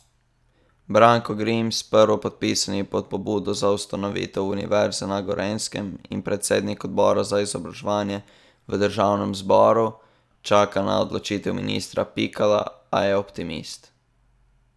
Branko Grims, prvopodpisani pod pobudo za ustanovitev Univerze na Gorenjskem in predsednik odbora za izobraževanje v državnem zboru, čaka na odločitev ministra Pikala, a je optimist.